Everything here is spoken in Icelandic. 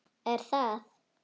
Er það?